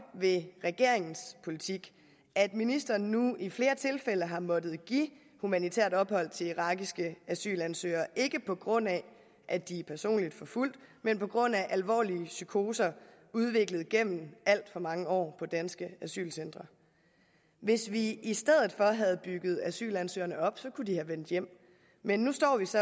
ved regeringens politik at ministeren nu i flere tilfælde har måttet give humanitært ophold til irakiske asylansøgere ikke på grund af at de er personligt forfulgt men på grund af alvorlige psykoser udviklet gennem alt for mange år på danske asylcentre hvis vi i stedet for havde bygget asylansøgerne op kunne de have vendt hjem men nu står vi så